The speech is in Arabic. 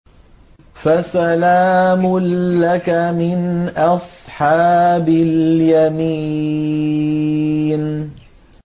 فَسَلَامٌ لَّكَ مِنْ أَصْحَابِ الْيَمِينِ